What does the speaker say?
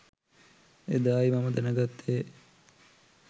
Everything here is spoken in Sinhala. එදා යි මම දැනගත්තේ